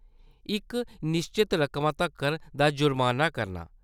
इक निश्चत रकमा तक्कर दा जुर्माना करना ।